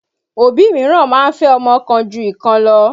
Òbí míràn máa ń fẹ́ ọmọ kan ju ìkan lọ.